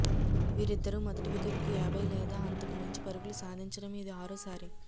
వీరిద్దరూ మొదటి వికెట్కు యాభై లేదా అంతకు మించి పరుగులు సాధించడం ఇది ఆరోసారి